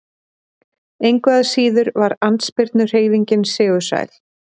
Engu að síður var andspyrnuhreyfingin sigursæl.